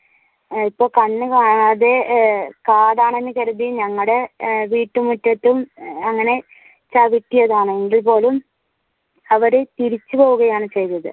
ഇപ്പോ കണ്ണ് കാണാതെ കാടാണെന്നു കരുതി ഞങ്ങളുടെ വീട്ടുമുറ്റത്തും അങ്ങനെ ചവിട്ടിയതാണ് എങ്കിൽ പോലും അവർ തിരിച്ചു പോവുകയാണ് ചെയ്തത്.